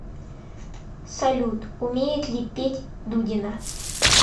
салют умеет ли петь дудина